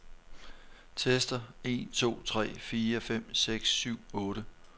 Tester en to tre fire fem seks syv otte.